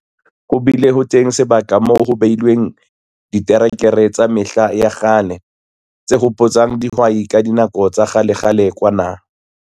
Ho bile ho teng sebaka moo ho behilweng diterekere tsa mehla ya kgale, tse hopotsang dihwai ka dinako tsa kgalekgale kwana.